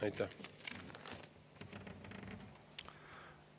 Aitäh!